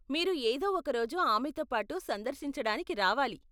మీరు ఏదో ఒక రోజు ఆమెతోపాటు సందర్శించడానికి రావాలి.